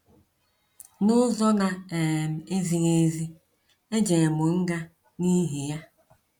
N'ụzọ na um ezighị ezi, ejerm mụ nga n'ihi ya.